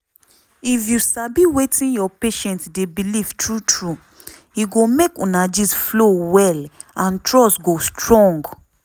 if you sabi wetin your patient dey believe true true e go make una gist flow well and trust go strong.